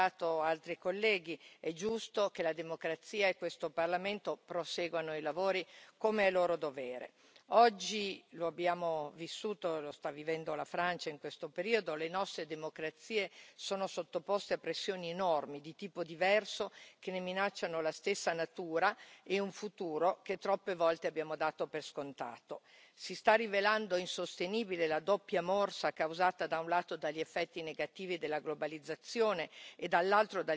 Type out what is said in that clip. Però, come hanno ricordato altri colleghi, è giusto che la democrazia e questo Parlamento proseguano i lavori, come è loro dovere. Oggi lo abbiamo vissuto, lo sta vivendo la Francia in questo periodo le nostre democrazie sono sottoposte a pressioni enormi di tipo diverso, che ne minacciano la stessa natura e un futuro che troppe volte abbiamo dato per scontato. Si sta rivelando insostenibile la doppia morsa causata, da un lato, dagli effetti negativi della globalizzazione